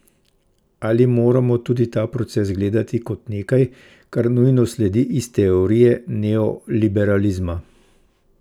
Ali moramo tudi ta proces gledati kot nekaj, kar nujno sledi iz teorije neoliberalizma?